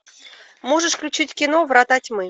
можешь включить кино врата тьмы